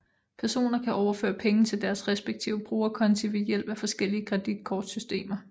Personer kan overføre penge til deres respektive brugerkonti ved hjælp af forskellige kreditkortsystemer